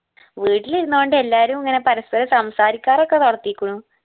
വീട്ടിലിരുന്നു കൊണ്ട് എല്ലാരും ഇങ്ങനെ പരസ്പരം സംസാരിക്കാറൊക്കെ വളർത്തിക്കുണു